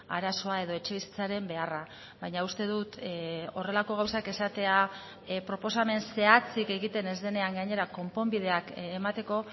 arazoa edo etxebizitzaren beharra baina uste dut horrelako gauzak esatea proposamen zehatzik egiten ez denean gainera konponbideak emateko